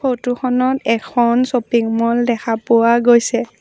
Photo খনত এখন shopping mall দেখা পোৱা গৈছে।